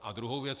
A druhá věc.